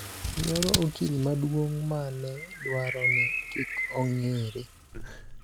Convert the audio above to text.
Nyoro, okil maduong� ma ne dwaro ni kik ong�ere,